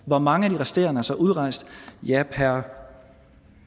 hvor mange af de resterende er så udrejst ja per